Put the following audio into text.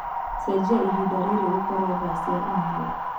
cenjĩa ĩhĩnda riri gũkorwo thaa cĩa india